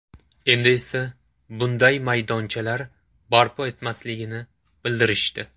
Endi esa bunday maydonchalar barpo etilmasligini bildirishdi.